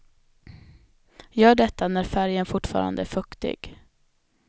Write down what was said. Gör detta när färgen fortfarande är fuktig.